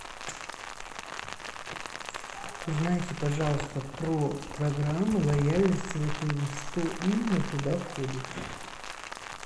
узнайте пожалуйста про программы лояльности в отеле что именно туда входит